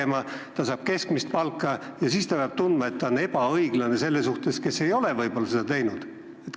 Kui ta saab keskmist palka, kas ta peab siis tundma, et see on ebaõiglane inimese suhtes, kes ei ole midagi sellist teinud?